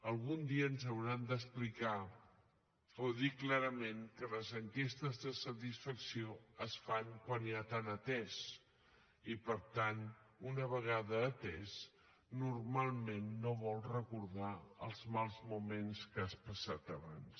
algun dia ens hauran d’explicar o dir clarament que les enquestes de satisfacció es fan quan ja t’han atès i per tant una vegada atès normalment no vols recordar els mals moments que has passat abans